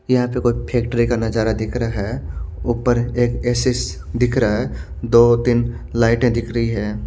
यहाँ पर कोई फैक्ट्री का नजारा दिख रहा हैं उपर एक एसीस दिख रहा हैं दो तीन लाईटे दिख रही हैं।